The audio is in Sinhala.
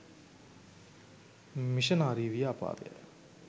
මිෂනාරි ව්‍යාපාරය